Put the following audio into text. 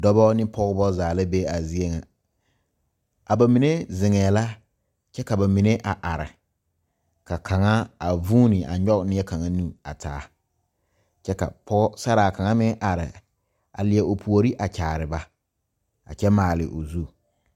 Dɔɔba ne pɔgeba zaa la be a zie ŋa a ba mine zeŋee la kyɛ ka ba mine are ka kaŋa a vuunee a kyɔge neɛkaŋa nu a taa kyɛ ka pɔgesaraa kaŋa meŋ are a leɛ o puori a kyaare ba a kyɛ maale o zu